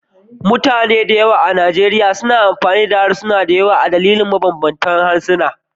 Mutane da yawa a Nigeria na amfani da harsuna da yawa ne a dalilin samun iyaye masu mabanbanta harsuna.